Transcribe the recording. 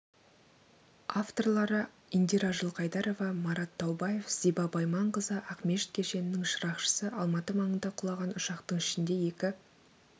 авторлары индира жылқайдарова марат таубаев зиба байманқызы ақмешіт кешенінің шырақшысы алматы маңында құлаған ұшақтың ішінде екі